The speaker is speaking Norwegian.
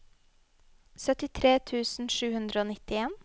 syttitre tusen sju hundre og nittien